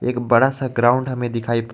एक बड़ा सा ग्राउंड हमें दिखाई --